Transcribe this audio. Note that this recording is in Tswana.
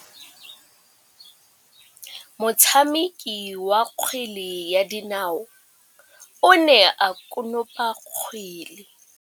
Motshameki wa kgwele ya dinaô o ne a konopa kgwele.